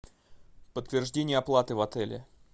подтверждение оплаты в отеле